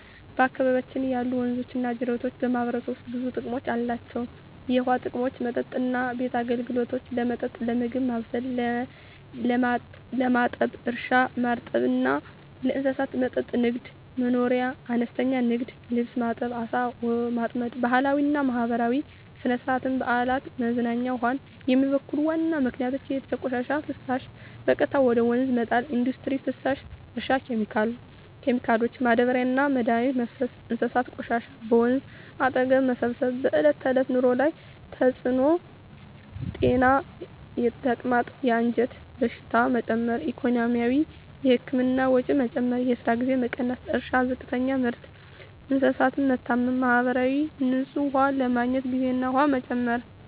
በአካባቢያችን ያሉ ወንዞችና ጅረቶች በማህበረሰቡ ውስጥ ብዙ ጥቅሞች አላቸው፣ የውሃ ጥቅሞች መጠጥና ቤት አገልግሎት – ለመጠጥ፣ ለምግብ ማብሰል፣ ለማጠብ እርሻ – ማርጠብ እና ለእንስሳት መጠጥ ንግድ/መኖርያ – አነስተኛ ንግድ (ልብስ ማጠብ፣ ዓሣ ማጥመድ) ባህላዊና ማህበራዊ – ሥነ-ሥርዓት፣ በዓላት፣ መዝናኛ ውሃን የሚበክሉ ዋና ምክንያቶች የቤት ቆሻሻና ፍሳሽ – በቀጥታ ወደ ወንዝ መጣል ኢንዱስትሪ ፍሳሽ – እርሻ ኬሚካሎች – ማዳበሪያና መድኃኒት መፍሰስ እንስሳት ቆሻሻ – በወንዝ አጠገብ መሰብሰብ በዕለት ተዕለት ኑሮ ላይ ያለ ተጽዕኖ ጤና – የተቅማጥ፣ የአንጀት በሽታዎች መጨመር ኢኮኖሚ – የህክምና ወጪ መጨመር፣ የስራ ጊዜ መቀነስ እርሻ – ዝቅተኛ ምርት፣ እንስሳት መታመም ማህበራዊ – ንጹህ ውሃ ለማግኘት ጊዜና ኃይል መጨመር